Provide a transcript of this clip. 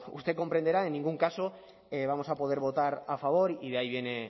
usted comprenderá en ningún caso vamos a poder votar a favor y de ahí viene